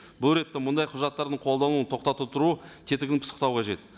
бұл ретте мұндай құжаттардың қолдануын тоқтата тұру тетігін пысықтау қажет